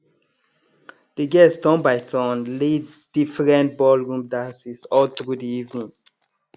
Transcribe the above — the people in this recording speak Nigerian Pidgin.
de guest turn by turn lead different ballroom dances all through de evening